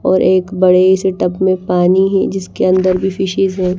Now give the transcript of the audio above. और एक बड़े से टब में पानी है जिसके अंदर भी फिशेस हैं।